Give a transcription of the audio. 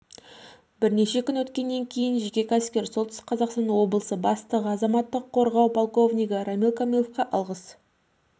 бірнеше күн өткеннен кейін жеке кәсіпкер солтүстік қазақстан облысы бастығы азаматтық қорғау полковникгі рамиль камаловқа алғыс